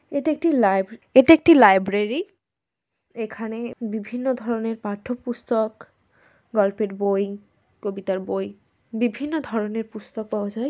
এটা কি লাইভ এটা একটি লাইব্রেরী এখানে বিভিন্ন ধরনের পাঠ্য পুস্তক গল্পের বই কবিতার বই বিভিন্ন ধরনের পুস্তক পাওয়া যায়।